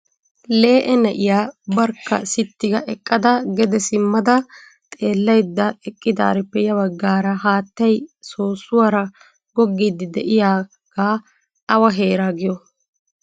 Lee''e na'iya barkka sitti ga eqqada gede simmada xeelaydda eqqidaarippe ya baggaara haattay soossuwaara goggiidi de'iyaaga awa heera giyo ?